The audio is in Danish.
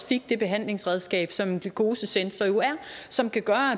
fik det behandlingsredskab som en glucosesensor jo er og som kan gøre